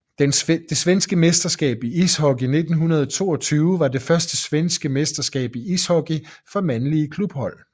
Det svenske mesterskab i ishockey 1922 var det første svenske mesterskab i ishockey for mandlige klubhold